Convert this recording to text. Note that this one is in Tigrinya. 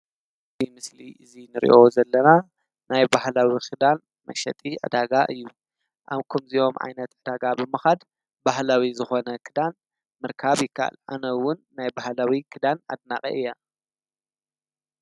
እዚ ምስሊ እዚ እንሪኦ ዘለና ናይ ባህላዊ ክዳን መሸጢ ዕዳጋ እዩ፡፡ ኣብ ከምዚኦም ዓይነት ዕዳጋ ብምካድ ባህላዊ ዝኮነ ክዳን ምርካብ ይከአል፡፡ አነ እውን ናይ ባህላዊ ክዳን አድናቂ እየ፡፡